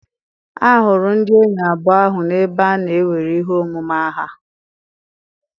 A hụrụ ndị enyi abụọ ahụ n'ebe a na-ewere ihe omume aha.